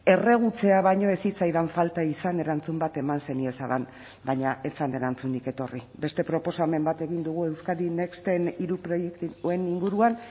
erregutzea baino ez zitzaidan falta izan erantzun bat eman zeniezadan baina ez zen erantzunik etorri beste proposamen bat egin dugu euskadi nexten hiru proiektuen inguruan